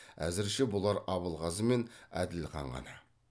әзірше бұлар абылғазы мен әділхан ғана